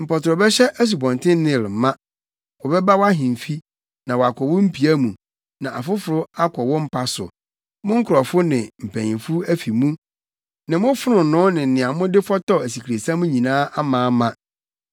Mpɔtorɔ bɛhyɛ Asubɔnten Nil ma. Wɔbɛba wʼahemfi, na wɔakɔ mo mpia mu, na afoforo akɔ mo mpa so, mo nkurɔfo ne mpanyimfo afi mu, ne mo fononoo ne nea mode fɔtɔw asikresiam nyinaa amaama.